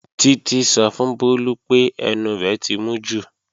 Títí sọ fún Bólú pé ẹnu rẹ̀ ti mú jù